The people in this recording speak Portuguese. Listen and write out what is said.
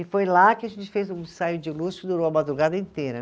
E foi lá que a gente fez um ensaio de luz que durou a madrugada inteira.